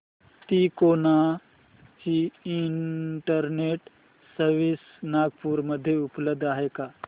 तिकोना ची internet service Nagpur मध्ये उपलब्ध आहे का